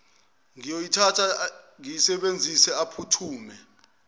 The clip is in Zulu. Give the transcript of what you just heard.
ngiyoyithatha ngiyisebenzise aphuthume